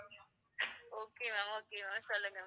okay ma'am okay ma'am சொல்லுங்க